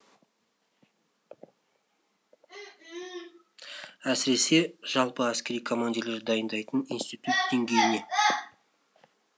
әсіресе жалпы әскери командирлер дайындайтын институт деңгейіне